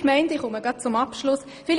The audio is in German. Ich komme gleich zum Abschluss í